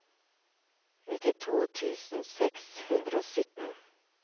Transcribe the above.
nittito tusen seks hundre og sytten